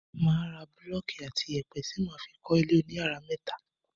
máa ra búlọ́kì àti ìyẹ̀pẹ̀ ti máa fi kọ́ ilé oníyàrá méta.